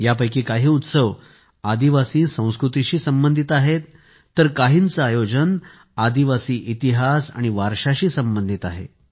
यापैकी काही उत्सव आदिवासी संस्कृतीशी संबंधित आहेत तर काहींचे आयोजन आदिवासी इतिहास आणि वारशाशी संबंधित आहे